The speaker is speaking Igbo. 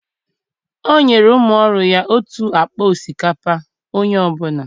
o nyere umu oru ya otu akpa osikapa Onye ọ bụla